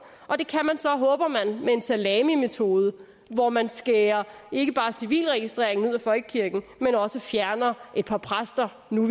og det kan man så håber man med en salamimetode hvor man skærer ikke bare civilregistreringen ud af folkekirken men også fjerner et par præster nu